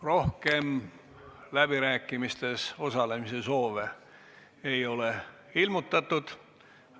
Rohkem läbirääkimistes osalemise soove ei ole ilmutatud.